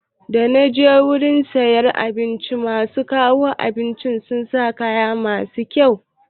Da naje wurin siyar da abinci yau, masu kawo abinci sun sa kaya mai kyau